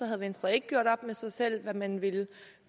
har venstre ikke gjort op med sig selv hvad man vil